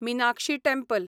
Meenakshi temple